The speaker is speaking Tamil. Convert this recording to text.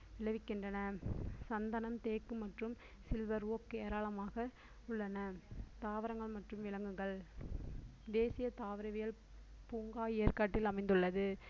விளைவிக்கின்றன சந்தனம், தேக்கு மற்றும் சில்வர் ஓக் ஏராளமாக உள்ளன தாவரங்கள் மற்றும் விலங்குகள் தேசிய தாவரவியல் பூங்கா ஏற்காட்டில் அமைந்துள்ளது